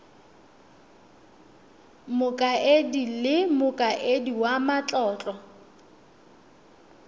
mokaedi le mokaedi wa matlotlo